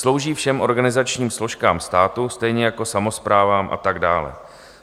Slouží všem organizačním složkám státu, stejně jako samosprávám a tak dále.